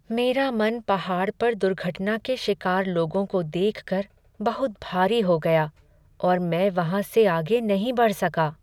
मेरा मन पहाड़ पर दुर्घटना के शिकार लोगों को देख कर बहुत भारी हो गया और मैं वहाँ से आगे नहीं बढ़ सका।